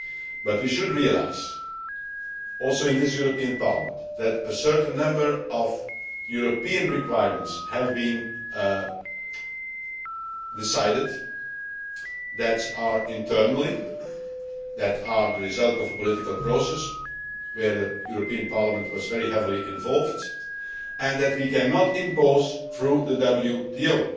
But we should realise, also in this European Parliament, that a certain number of European requirements have been decided internally that are the result of a political process in which the European Parliament was very heavily involved and that we cannot impose through the WTO.